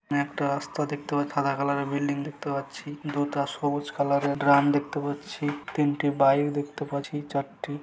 একটা রাস্তা দেখতে সাদা কালার -এর বিল্ডিং দেখতে পাচ্ছি দুটা সবুজ কালার -এর ড্রাম দেখতে পাচ্ছি তিনটে বাইক দেখতে পাচ্ছি চারটে।